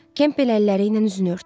Kempbel əlləri ilə üzünü örtdü.